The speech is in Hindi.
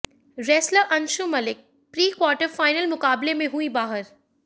wrestler Anshu Malik pre quarter final मुकाबले में हुईं बाहर